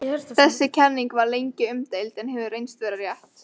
Þessi kenning var lengi umdeild en hefur reynst vera rétt.